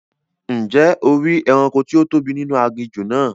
Ǹjẹ́ o ri ẹranko tí ó tóbi nínú aginjù náà?